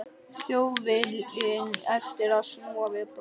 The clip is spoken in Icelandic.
Þjóðviljinn eftir að snúa við blaðinu.